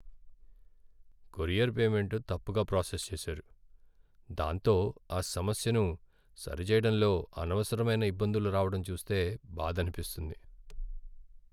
Courier payment తప్పుగా process చేసారు, దాంతో ఆ సమస్యను సరిచేయడంలో అనవసరమైన ఇబ్బందులు రావటం చూస్తే బాధనిపిస్తుంది.